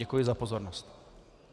Děkuji za pozornost.